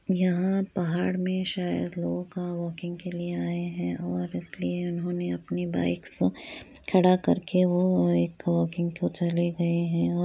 यहाँ पहाड़ में शायद लोग अ वाकिंग के लिए आये है और इसलिए इन्होने अपनी बाईक्स खड़ा कर के वो वाकिंग को चले गए है। व --